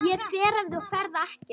Ég fer ef þú ferð ekki.